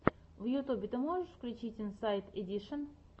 в ютьюбе ты можешь включить инсайд эдишен